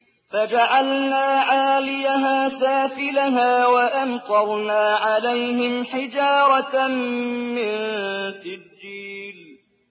فَجَعَلْنَا عَالِيَهَا سَافِلَهَا وَأَمْطَرْنَا عَلَيْهِمْ حِجَارَةً مِّن سِجِّيلٍ